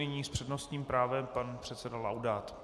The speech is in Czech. Nyní s přednostním právem pan předseda Laudát.